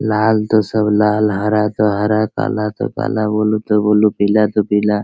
लाल ता सब लाल हरा तो हरा काला तो काला ब्लू तो ब्लू पीला तो पीला।